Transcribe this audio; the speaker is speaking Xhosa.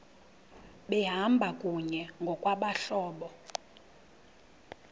behamba kunye ngokwabahlobo